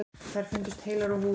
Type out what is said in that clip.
Þær fundust heilar á húfi.